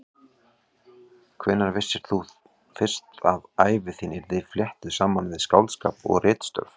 Hvenær vissir þú fyrst að ævi þín yrði fléttuð saman við skáldskap og ritstörf?